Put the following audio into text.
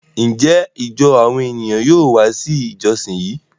Njẹ ijọ awọn eniyan yóò wá si ijọsin yí?